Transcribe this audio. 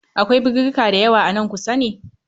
Akwai birirrika dayawa a nan kusa ne?